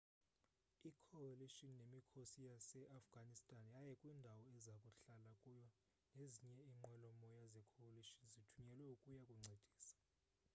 i-coalition nemikhosi yaseafghan yaya kwindawo eza kuhlala kuyo nezinye inqwelomoya ze-coalition zithunyelwe ukuya kuncedisa